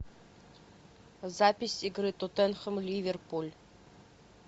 запись игры тоттенхэм ливерпуль